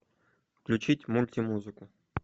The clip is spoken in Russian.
включить мультимузыку